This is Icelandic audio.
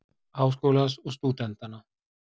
Háskólans og stúdenta.